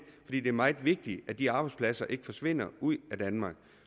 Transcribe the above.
er meget vigtigt at de arbejdspladser ikke forsvinder ud af danmark